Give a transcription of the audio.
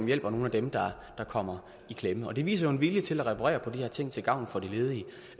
hjælper nogle af dem der kommer i klemme det viser jo en vilje til at reparere på de her ting til gavn for de ledige